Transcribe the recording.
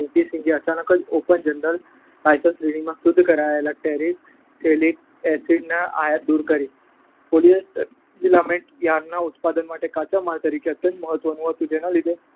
Licence શ્રેણીમાંથી શુદ્ધ કરાયેલ ટેરેફથેલિક એસિડની આયાતને દૂર કરી. પોલિઅસ્ટર ફિલામેન્ટ યાર્નના ઉત્પાદન માટે કાચા માલ તરીકે અત્યંત મહત્વનું હતું. જેના લીધે